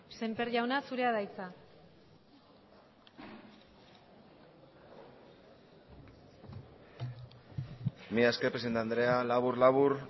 semper jauna zurea da hitza mila esker presidente andrea labur labur